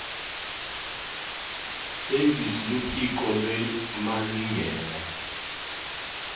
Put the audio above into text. service luphiko lwemalingena